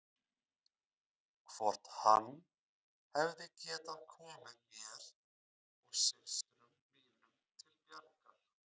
Hvort hann hefði getað komið mér og systrum mínum til bjargar.